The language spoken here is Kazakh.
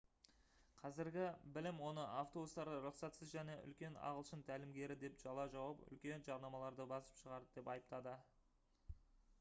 қазіргі білім оны автобустарда рұқсатсыз және үлкен ағылшын тәлімгері деп жала жауып үлкен жарнамаларды басып шығарды деп айыптады